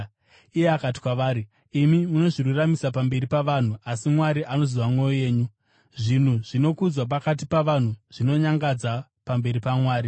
Iye akati kwavari, “Imi munozviruramisira pamberi pavanhu, asi Mwari anoziva mwoyo yenyu. Zvinhu zvinokudzwa pakati pavanhu zvinonyangadza pamberi paMwari.